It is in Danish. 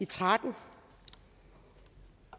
tretten